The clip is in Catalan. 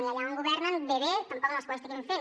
i allà on governen bé bé tampoc no és que ho estiguin fent